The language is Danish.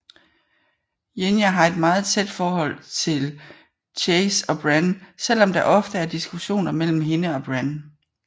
Jinja har et meget tæt forhold til Chase og Bren selvom der ofte er diskussioner mellem hende og Bren